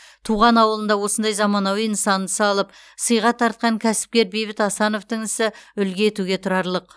туған ауылында осындай заманауи нысанды салып сыйға тартқан кәсіпкер бейбіт асановтың ісі үлгі етуге тұрарлық